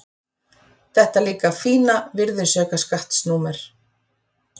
Þetta líka fína virðisaukaskattsnúmer.